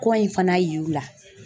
Kɔ in fana yir'u la.